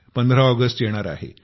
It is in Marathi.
15 ऑगस्ट येणार आहे